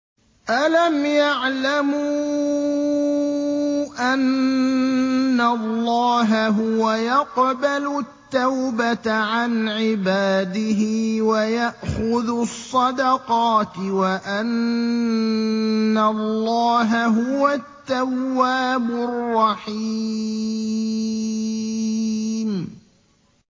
أَلَمْ يَعْلَمُوا أَنَّ اللَّهَ هُوَ يَقْبَلُ التَّوْبَةَ عَنْ عِبَادِهِ وَيَأْخُذُ الصَّدَقَاتِ وَأَنَّ اللَّهَ هُوَ التَّوَّابُ الرَّحِيمُ